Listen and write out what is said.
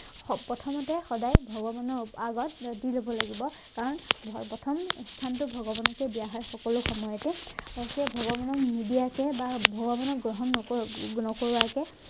প্ৰথমতে সদায় ভগৱানৰ আগত মূৰটো দিব লাগিব কাৰণ প্ৰথম স্থানটো ভগৱানকে দিয়া হয় সকলো সময়তে তাৰপাছত ভগৱানক নিদিয়াকে বা ভগৱানক গ্ৰহণ নকৰোৱা নকৰোৱাকে